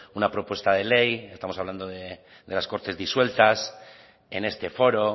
una propuesta de ley estamos hablando de las cortes disueltas en este foro